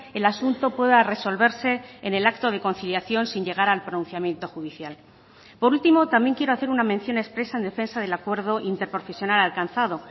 el asunto pueda resolverse en el acto de conciliación sin llegar al pronunciamiento judicial por último también quiero hacer una mención expresa en defensa del acuerdo interprofesional alcanzado